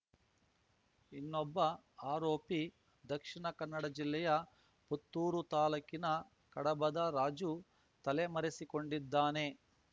ಇನ್ನೊಬ್ಬ ಆರೋಪಿ ದಕ್ಷಿಣ ಕನ್ನಡ ಜಿಲ್ಲೆಯ ಪುತ್ತೂರು ತಾಲೂಕಿನ ಕಡಬದ ರಾಜು ತಲೆಮರೆಸಿಕೊಂಡಿದ್ದಾನೆ